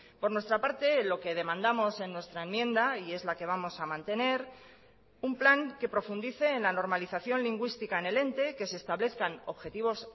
por nuestra parte lo que demandamos en nuestra enmienda y es la que vamos a mantener un plan que profundice en la normalización lingüística en el ente que se establezcan objetivos